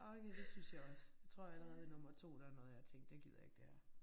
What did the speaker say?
Øj det syntes jeg også jeg tror allerede ved nummer 2 der nåede jeg at tænke det gider jeg ikke det her